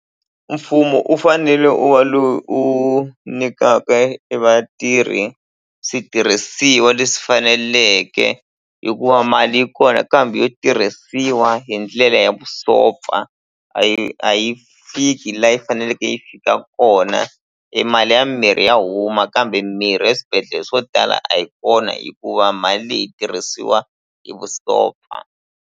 Mfumo u fanele u wa lo u nyikaka e vatirhi switirhisiwa leswi faneleke hikuva mali yi kona kambe yo tirhisiwa hi ndlela ya vusopfa a yi a yi fiki la yi faneleke yi fika kona e mali ya mimirhi ya huma kambe mimirhi eswibedhlele swo tala a yi kona hikuva mali leyi yi tirhisiwa hi vusopfa.